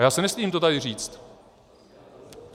A já se nestydím to tady říct.